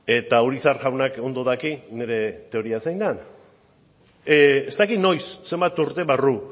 eta urizar jaunak ondo daki nire teoria zein den ez dakit noiz zenbat urte barru